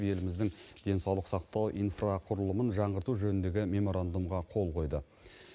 еліміздің денсаулық сақтау инфрақұрылымын жаңғырту жөніндегі меморандумға қол қойды